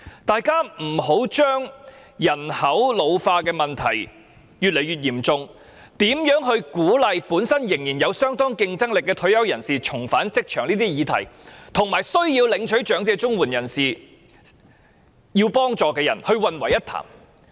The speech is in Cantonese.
大家不要把日益嚴重的人口老化問題、如何鼓勵仍然有相當競爭力的退休人士重返職場等議題，與長者綜援的受助人混為一談。